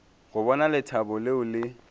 go bona lethabo leo le